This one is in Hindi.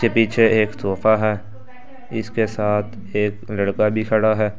के पीछे एक सोफा है इसके साथ एक लड़का भी खड़ा है।